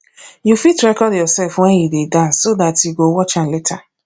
you fit record yourself when you dey dance so dat you go watch am later